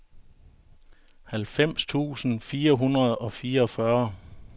halvfems tusind fire hundrede og fireogfyrre